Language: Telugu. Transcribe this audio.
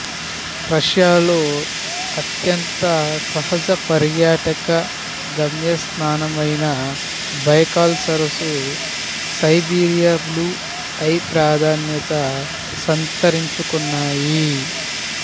రష్యాలో అత్యంత సహజ పర్యాటక గమ్యస్థానమైన బైకాల్ సరసు సైబీరియా బ్లూ ఐ ప్రాధాన్యత సంతరించుకున్నాయి